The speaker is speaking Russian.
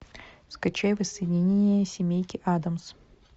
скачай воссоединение семейки адамс